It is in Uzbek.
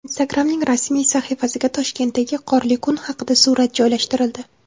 Instagram’ning rasmiy sahifasiga Toshkentdagi qorli kun haqida surat joylashtirildi .